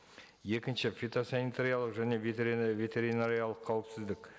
екінші фитосанитариялық және ветеринариялық қауіпсіздік